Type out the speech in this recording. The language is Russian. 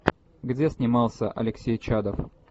где снимался алексей чадов